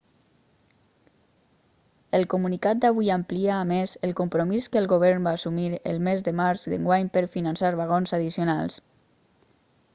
el comunicat d'avui amplia a més el compromís que el govern va assumir el mes de març d'enguany per finançar vagons addicionals